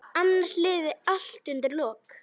Annars liði allt undir lok.